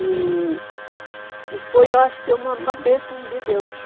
E e foi, eu acho que uma uma benção de Deus.